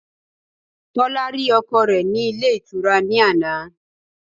Tólá rí ọkọ re ní Ilé Ìtura ní àná